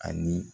Ani